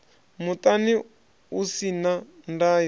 muṱani u si na ndayo